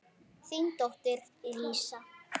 Þín dóttir Lísa.